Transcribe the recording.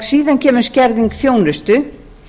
síðan kemur skerðing þjónustu